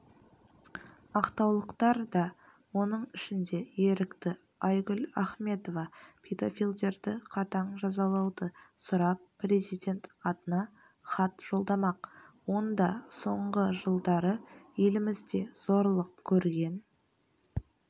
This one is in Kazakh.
ақтаулықтар да оның ішінде ерікті айгүл ахметова педофилдерді қатаң жазалауды сұрап президент атына хат жолдамақ онда соңғы жылдары елімізде зорлық көрген